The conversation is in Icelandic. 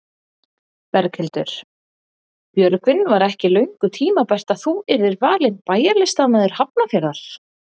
Berghildur: Björgvin var ekki löngu tímabært að þú yrðir valinn bæjarlistamaður Hafnarfjarðar?